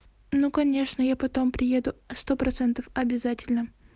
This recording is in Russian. ну конечно я потом приеду сто процентов обязательно